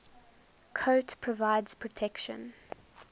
coat provides protection